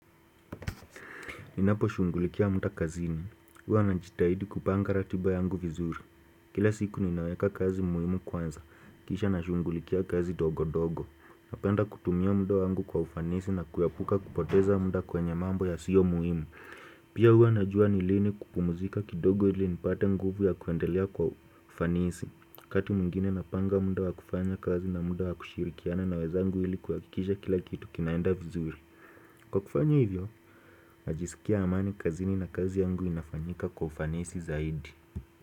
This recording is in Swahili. Ninapo shungulikia muda kazini, huwa najitahidi kupanga ratiba yangu vizuri. Kila siku ninaweka kazi muhimu kwanza, kisha nashungulikia kazi dogo dogo. Napenda kutumia muda wangu kwa ufanisi na kuyapuka kupoteza muda kwenye mambo ya sio muhimu. Pia hua najua nilini kukumuzika kidogo ili nipata nguvu ya kuandelea kwa ufanisi kati mwngine napanga muda wakufanya kazi na muda wakushirikiana na wezangu ili kuhakikisha kila kitu kinaenda vizuri Kwa kufanya hivyo, najisikia amani kazini na kazi yangu inafanyika kwa ufanisi zaidi.